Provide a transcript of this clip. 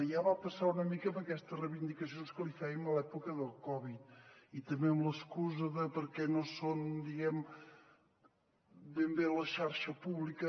ja va passar una mica amb aquestes reivindicacions que li fèiem a l’època del covid i també amb l’excusa de perquè no són ben bé la xarxa pública